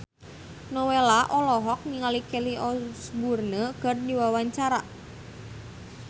Nowela olohok ningali Kelly Osbourne keur diwawancara